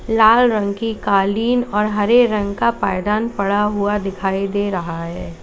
लाल रंग की कालीन और हरे रंग का पायदान पड़ा हुआ दिखाई दे रहा है।